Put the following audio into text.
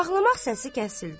Ağlamaq səsi kəsildi.